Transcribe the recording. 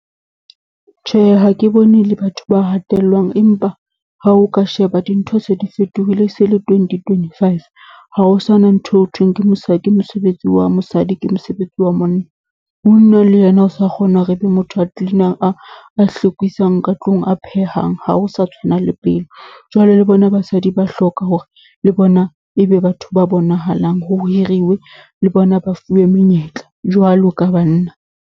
Tjhe, ha ke bone le batho ba hatellwang, empa ha o ka sheba dintho se di fetohile, e se le twenty twenty five. Ha ho sa na ntho eo honthweng ke ke mosebetsi wa mosadi, ke mosebetsi wa monna. Monna le yena o sa kgona hore e be motho a clean-ang, a a hlwekisang ka tlung, a phehang, ha ho sa tshwana le pele. Jwale le bona basadi ba hloka hore le bona e be batho ba bonahalang ho hiriwe, le bona ba fuwe menyetla jwalo ka banna.